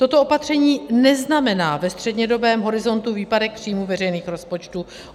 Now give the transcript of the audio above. Toto opatření neznamená ve střednědobém horizontu výpadek příjmů veřejných rozpočtů.